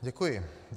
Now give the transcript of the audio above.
Děkuji.